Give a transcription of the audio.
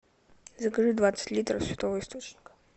закажи двадцать литров святого источника